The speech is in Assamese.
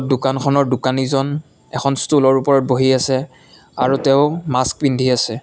দোকানখনৰ দোকানিজন এখন ষ্টুলৰ ওপৰত বহি আছে আৰু তেওঁ মাস্ক পিন্ধি আছে।